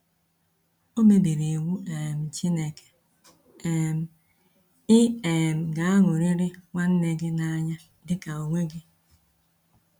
O mebiri iwu um Chineke: um “Ị um ga-aṅụrịrị nwanne gị n’anya dị ka onwe gị.”